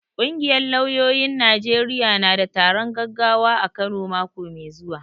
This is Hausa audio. Ƙungiyar lauyoyin Najeriya na da taron gaggawa a Kano mako mai zuwa.